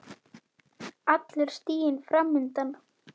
Allur stiginn fram undan.